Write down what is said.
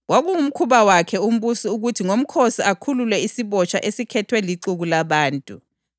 Kwakungumkhuba wakhe umbusi ukuthi ngomkhosi akhulule isibotshwa esikhethwe lixuku labantu.